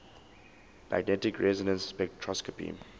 magnetic resonance spectroscopy